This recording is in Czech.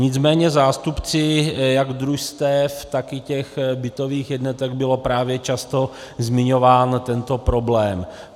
Nicméně zástupci jak družstev, tak i těch bytových jednotek byl právě často zmiňován tento problém.